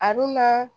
A dun na